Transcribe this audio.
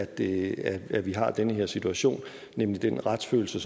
det at vi har den her situation med den retsfølelse